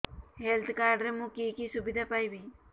health card ରେ ମୁଁ କି କି ସୁବିଧା ପାଇବି